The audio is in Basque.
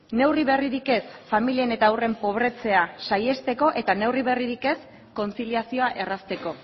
neurri berririk ez familien eta haurren pobretzea saihesteko eta neurri berririk ez kontziliazioa errazteko